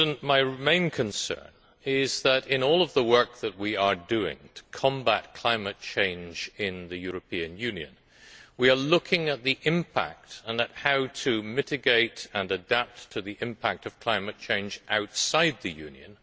My main concern is that, in all of the work that we are doing to combat climate change in the European Union, we are looking at the impact and at how to mitigate and adapt to the impact of climate change outside the Union.